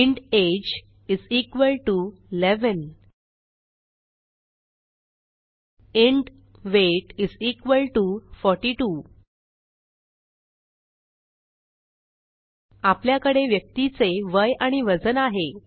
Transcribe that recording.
int age is equal to 11 int weight is equal to 42 आपल्याकडे व्यक्तीचे वय आणि वजन आहे